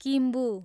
Kimbu